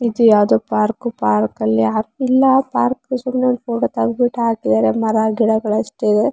ಇದು ಯಾವ್ದೋ park park ಅಲ್ಲಿ ಇಲ್ಲ ಪಾರ್ಕ್ ಸುಮ್ನೆ ಒಂದು ಫೋಟೋ ತೆಗೆದ್ ಬಿಟ್ಟು ಹಾಕಿದ್ದಾರೆ ಮರ ಗಿಡಗಳು ಅಷ್ಟೇ ಇದ್ದವೇ.